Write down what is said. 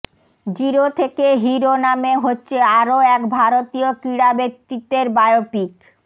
zero থেকে hero নামে হচ্ছে আরও এক ভারতীয় ক্রীড়াব্যক্তিত্বের বায়োপিক